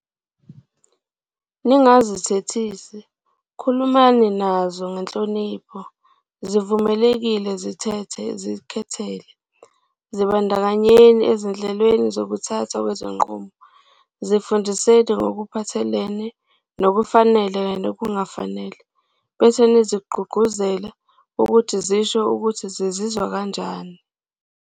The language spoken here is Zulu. Ningazithethisi, khulumani nazo ngenhlonipho, zivumeleni zizikhethele, zibandakanyeni ezinhlelweni zokuthathwa kwezinqumo, zifundiseni ngokuphathelene nokufanele kanye nokungafanele, bese nizigqugquzele ukuthi zisho ukuthi zizizwa kanjani.